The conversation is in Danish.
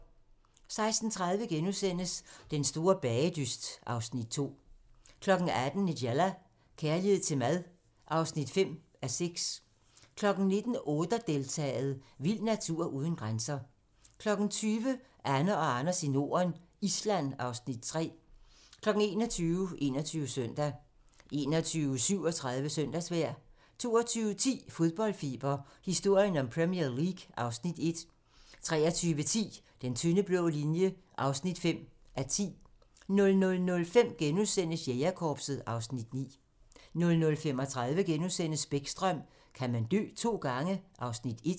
16:30: Den store bagedyst (Afs. 2)* 18:00: Nigella - kærlighed til mad (5:6) 19:00: Oder-deltaet: Vild natur uden grænser 20:00: Anne og Anders i Norden - Island (Afs. 3) 21:00: 21 Søndag 21:37: Søndagsvejr 22:10: Fodboldfeber - historien om Premier League (Afs. 1) 23:10: Den tynde blå linje (5:10) 00:05: Jægerkorpset (Afs. 9)* 00:35: Bäckström: Kan man dø to gange? (Afs. 1)*